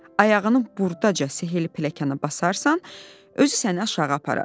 Ayağını burdaca sehirli pilləkana basarsan, özü səni aşağı aparar.